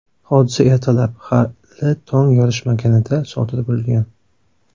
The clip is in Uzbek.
Hodisa ertalab, hali tong yorishmaganida sodir bo‘lgan.